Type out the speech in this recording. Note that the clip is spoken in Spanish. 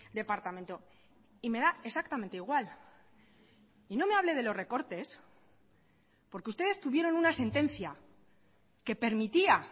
departamento y me da exactamente igual y no me hable de los recortes porque ustedes tuvieron una sentencia que permitía